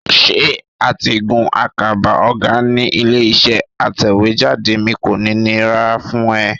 Ṣé àtigún àkàbà ọ̀gá ní ilé-iṣẹ́ aṣèwéjádé mi kò ní nira fún ẹ?